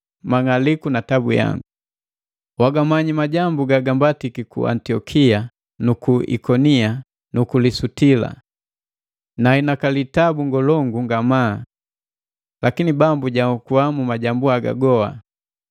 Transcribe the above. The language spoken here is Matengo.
mang'aliku na tabu. Wagamanyi majambu gagambatiki ku Antiokia nu ku Ikonia nu Lusitila. Nahinakali tabu ngolongu ngamaa! Lakini Bambu jaokua mu majambu haga goa.